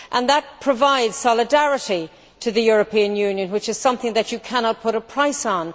That provides solidarity to the European Union, which is something that you cannot put a price on.